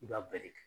I b'a bɛɛ de kɛ